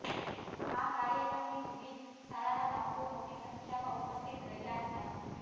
આ કાર્યક્રમની વિવિધ શાળાના બાળકો મોટી સંખ્યામાં ઉપસ્થિત રહ્યાં હતાં